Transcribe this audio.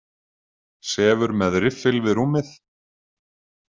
Sefur með riffil við rúmið.